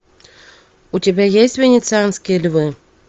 у тебя есть венецианские львы